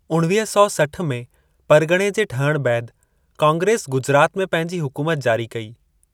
उणवीह सौ सठ में परगि॒णे जे ठहणु बैदि, कांग्रेस गुजरात में पंहिंजी हुकूमतु जारी कई।